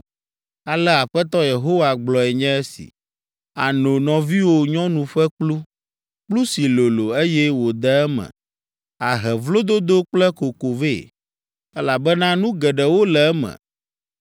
“Ale Aƒetɔ Yehowa gblɔe nye si, “Àno nɔviwò nyɔnu ƒe kplu, kplu si lolo, eye wòde eme, ahe vlododo kple koko vɛ, elabena nu geɖewo le eme.